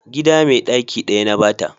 gida mai daki daya na ba ta